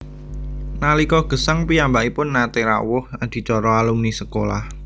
Nalika gesang piyambakipun naté rawuh adicara alumni sekolah